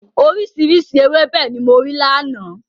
Oríṣiríṣi ewébẹ̀ ni mo rí lánàá.